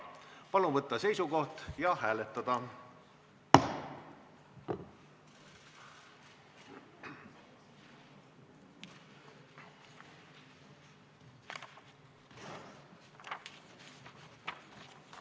Palun võtta seisukoht ja hääletada!